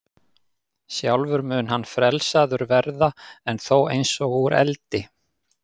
Sjálfur mun hann frelsaður verða, en þó eins og úr eldi.